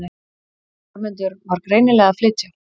Hermundur var greinilega að flytja.